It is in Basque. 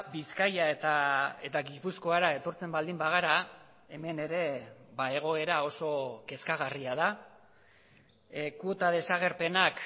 bizkaia eta gipuzkoara etortzen baldin bagara hemen ere egoera oso kezkagarria da kuota desagerpenak